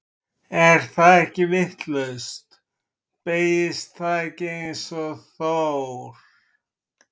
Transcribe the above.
Er það ekki vitlaust, beygist það ekki eins og Þór?